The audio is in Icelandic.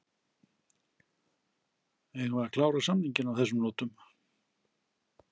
Eigum við að klára samninginn á þessum nótum?